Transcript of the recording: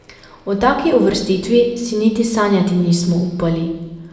O taki uvrstitvi si niti sanjati nismo upali.